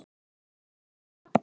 Lét það duga.